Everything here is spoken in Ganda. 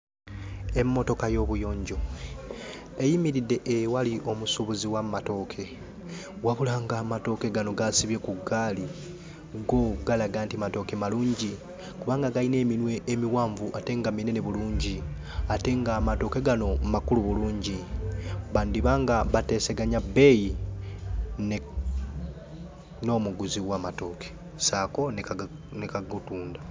Emmotoka y'obuyonjo eyimiridde ewali omusuubuzi w'amatooke wabula ng'amatooke gano g'asibye ku ggaali go galaga nti matooke malungi kubanga galina eminwe emiwanvu ate nga minene bulungi ate ng'amatooke gano makulu bulungi. Bandiba nga bateesaganya bbeeyi ne n'omuguzi w'amatooke ssaako ne kage ne kagatunda.